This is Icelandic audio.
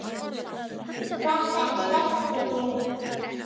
Þetta er sterk byrjun.